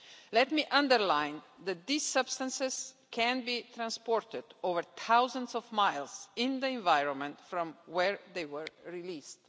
Let me underline that these substances can be transported over thousands of miles in the environment from where they were released.